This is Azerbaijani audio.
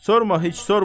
Sorma heç sorma.